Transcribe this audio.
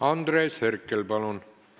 Andres Herkel, palun!